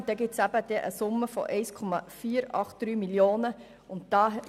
Dies ergibt eine Summe von 1 483 000 Franken.